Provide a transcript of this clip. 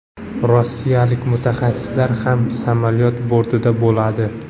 Rossiyalik mutaxassislar ham samolyot bortida bo‘ladi.